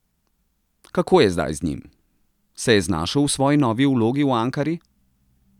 Kako je zdaj z njim, se je znašel v svoji novi vlogi v Ankari?